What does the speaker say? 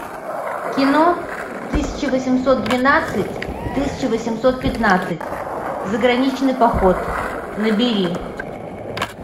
кино тысяча восемьсот двенадцать тысяча восемьсот пятнадцать заграничный поход набери